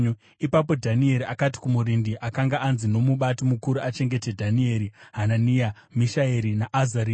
Ipapo Dhanieri akati kumurindi akanga anzi nomubati mukuru achengete Dhanieri, Hanania, Mishaeri naAzaria,